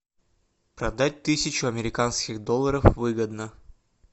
продать тысячу американских долларов выгодно